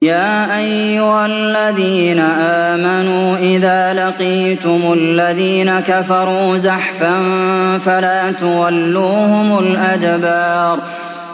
يَا أَيُّهَا الَّذِينَ آمَنُوا إِذَا لَقِيتُمُ الَّذِينَ كَفَرُوا زَحْفًا فَلَا تُوَلُّوهُمُ الْأَدْبَارَ